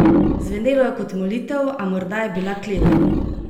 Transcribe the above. Zvenelo je kot molitev, a morda je bila kletev.